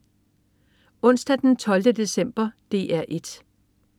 Onsdag den 12. december - DR 1: